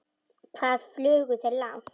Hvað flugu þeir langt?